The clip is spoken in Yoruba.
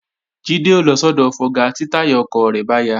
Jídé ó lọ sọ́dọ̀ fọga tí táyà ọkọ̀ rẹ̀ bá ya